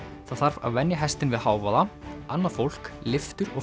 það þarf að venja hestinn við hávaða annað fólk lyftur og